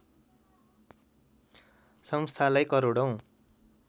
संस्थालाई करोडौँ